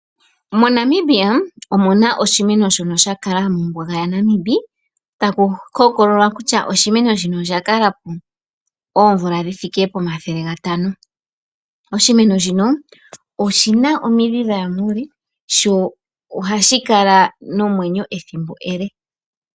Monamibia omuna oshimeno shono sha kala mombuga ya Namib Oshimeno shino oshina omidhi dhaya muule sho ohashi kala nomeenyo ethimbo ele.